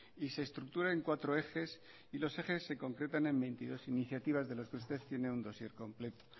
y se estructura en cuatro ejes y los ejes se concretan en veintidós iniciativas de los que usted tiene un dossier completo